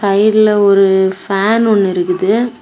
சைடுல ஒரு ஃபேன் ஒன்னு இருக்குது.